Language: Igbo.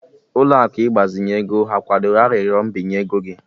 Ụlọ akụ ịgbazinye ego ha kwadoro arịrịọ mbinye ego gị?